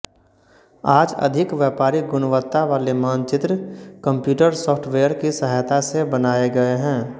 आज अधिक व्यापारिक गुणवत्ता वाले मानचित्र कम्प्यूटर सॉफ्टवेयर की सहायता से बनाये गये हैं